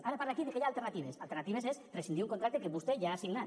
ara parla aquí que hi ha alternatives alternatives és rescindir un contracte que vostè ja ha signat